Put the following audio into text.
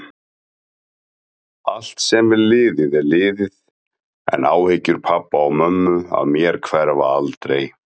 Allt sem er liðið er liðið, en áhyggjur pabba og mömmu af mér hverfa aldrei.